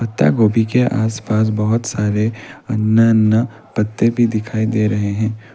त्ता गोभी के आसपास बहुत सारे अन्य अन्य पत्ते भी दिखाई दे रहे हैं।